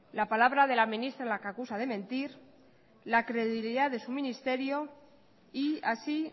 la palabra de la ministra a la que acusa de mentir la credibilidad de su ministerio y así